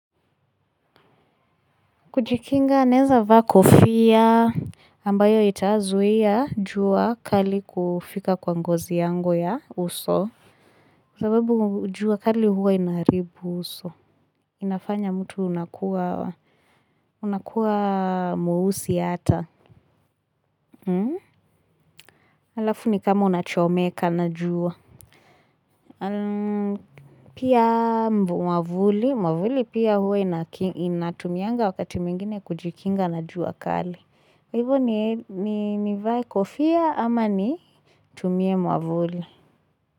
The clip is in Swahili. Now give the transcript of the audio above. Kujikinga naeza vaa kofia ambayo itaazuia jua kali kufika kwa ngozi yangu ya uso. Kwa sababu jua kali huwa inaharibu uso. Inafanya mtu unakuwa mweusi ata. Alafu ni kama unachomeka na jua. Pia mwavuli. Mwavuli pia huwa inatumianga wakati mwingine kujikinga na jua kali. Kwa Hivo ni vae kofia ama nitumie mwavuli.